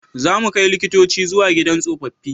Za mu kai likitoci zuwa gidan tsofaffi